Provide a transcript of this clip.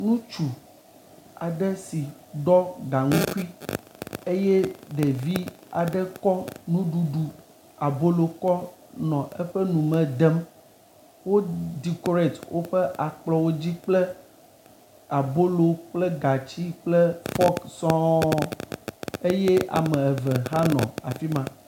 Ŋutsu aɖe si ɖɔ gaŋkui eye ɖevi aɖe kɔ nuɖuɖu abolo kɔ nɔ eƒe nu me dem. Wo ɖikoret woƒe akplɔwo dzi kple abolo kple gatsi kple fɔk sɔŋ. Eye ame eve hã nɔ afi ma.